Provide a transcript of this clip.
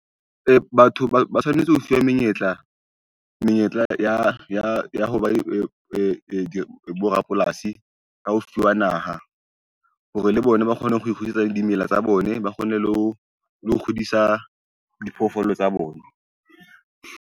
Batho ba tshwanetse ho fuwa menyetla ya ho ba borapolasi ka ho fiwa naha hore le bona ba kgone ho ikgudisetsa dimela tsa bone, ba kgone le ho kgodisa diphoofolo tsa bona.